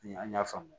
An y'a faamu